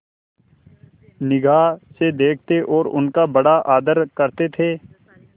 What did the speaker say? निगाह से देखते और उनका बड़ा आदर करते थे